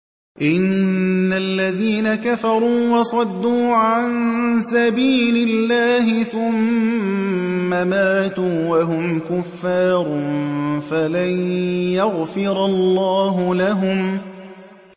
إِنَّ الَّذِينَ كَفَرُوا وَصَدُّوا عَن سَبِيلِ اللَّهِ ثُمَّ مَاتُوا وَهُمْ كُفَّارٌ فَلَن يَغْفِرَ اللَّهُ لَهُمْ